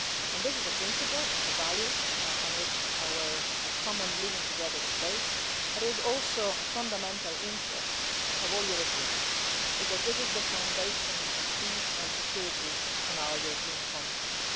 And this is a principle, it is a value, on which our common living together is based, but it is also a fundamental interest of all Europeans, because this is the foundation of peace and security on our European continent.